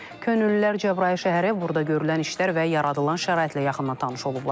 Könüllülər Cəbrayıl şəhəri, burda görülən işlər və yaradılan şəraitlə yaxından tanış olublar.